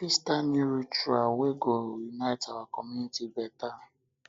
we fit start new rituals wey go help unite our community beta